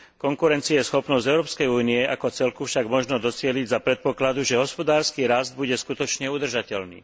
Konkurencieschopnosť Európskej únie ako celku však možno docieliť za predpokladu, že hospodársky rast bude skutočne udržateľný.